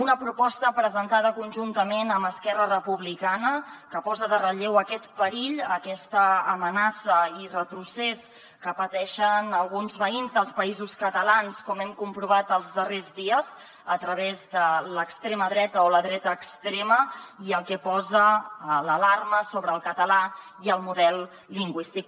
una proposta presentada conjuntament amb esquerra republicana que posa en relleu aquest perill aquesta amenaça i retrocés que pateixen alguns veïns dels països catalans com hem comprovat els darrers dies a través de l’extrema dreta o la dreta extrema i el que posa l’alarma sobre el català i el model lingüístic